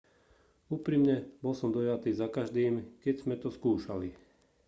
úprimne bol som dojatý zakaždým keď sme to skúšali